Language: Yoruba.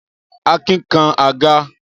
Akin kan àga.